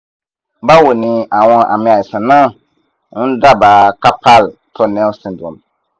bawo ni awon ami aisan na n daba carpal tunnel syndrome